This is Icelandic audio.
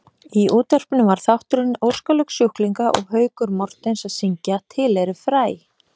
Í útvarpinu var þátturinn Óskalög sjúklinga og Haukur Mortens að syngja Til eru fræ.